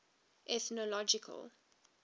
ethnological